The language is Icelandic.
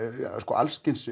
alls kyns